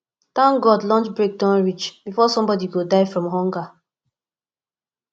thank god lunch break don reach before somebody go die from hunger